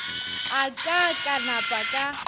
a ka ka napa ka